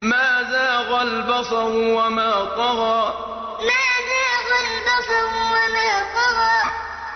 مَا زَاغَ الْبَصَرُ وَمَا طَغَىٰ مَا زَاغَ الْبَصَرُ وَمَا طَغَىٰ